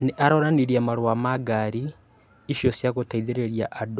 Nĩ aronanirie marũa ma ngaari icio cia gũteithĩrĩria andũ